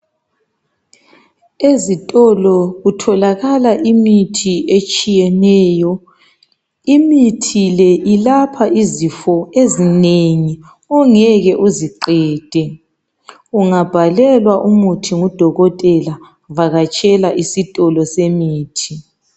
Ezitolo kutholakala imithi etshiyeneyo. Imithi le, ilapha izifo ezinengi ongeke uziqede. Ungabhalelwa umuthi ngudokotela vakatshela isitolo semithi.